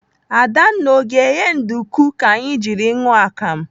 Adanna, ọ ga-eghe nduku ka anyị jiri ṅụọ akam?